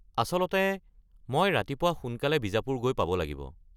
আচলতে মই ৰাতিপুৱা সোনকালে বিজাপুৰ গৈ পাব লাগিব।